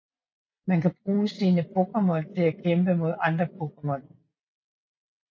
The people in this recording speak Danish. Man kan bruge sine Pokémon til at kæmpe mod andre Pokémon